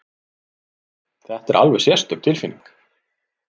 Þetta er alveg sérstök tilfinning!